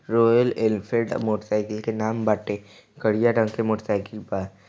Royal Enfield motorcycle के नाम बाटे करिया रंग के मोटर साइकिल बा।